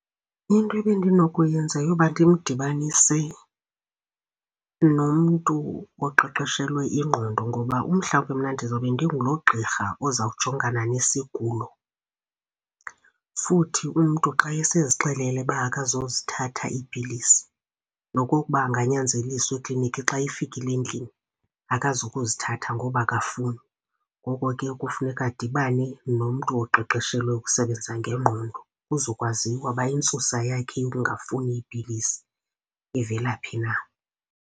Into ebendinokuyenza yeyoba ndimdibanise nomntu oqeqeshelwe ingqondo ngoba umhlawumbi mna ndizawube ndingulo gqirha ozakujongana nesigulo. Futhi umntu xa esezixelele ukuba akazuzithatha iipilisi nokokuba anganyanzeliswa eklinikhi, xa efikile endlini akazukuzithatha ngoba akafuni. Ngoko ke kufuneka adibane nomntu oqeqeshelwe ukusebenza ngengqondo kuzokwaziwa ukuba intsusa yakhe yokungafuni iipilisi ivela phi na.